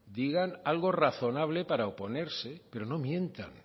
digan algo razonable para oponerse pero no mientan